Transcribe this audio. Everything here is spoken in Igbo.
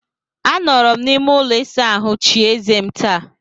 Anọrọ m n'ime ụlọ ịsa ahụ chie eze m taa.